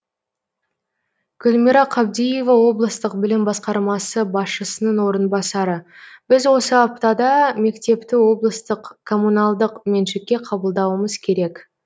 гүлмира қабдиева облыстық білім басқармасы басшысының орынбасары біз осы аптада мектепті облыстық коммуналдық меншікке қабылдауымыз керек